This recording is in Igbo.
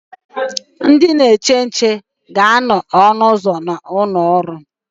Ndị na-eche nche na anọ na ọnụ ụzọ ụlọ ọrụ